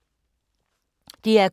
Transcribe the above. DR K